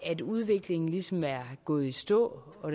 at udviklingen ligesom er gået i stå og